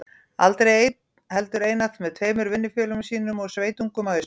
Aldrei einn, heldur einatt með tveimur vinnufélögum sínum og sveitungum að austan.